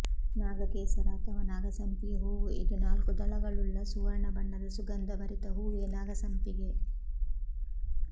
ನಾಗ ಕೇಸರ ಅಥವ ನಾಗಸಂಪಿಗೆ ಹೂವು ಇದು ನಾಲ್ಕು ದಳಗಳುಳ್ಳ ಸುವರ್ಣ ಬಣ್ಣದ ಸುಗಂಧಭರಿತ ಹೂವೆ ನಾಗಸಂಪಿಗೆ